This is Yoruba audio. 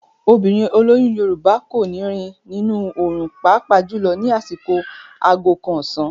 Obìnrin olóyún Yorùbá kò ní rìn nínú òòrùn pàápàá jùlọ ní àsìkò aago kan ọ̀sán.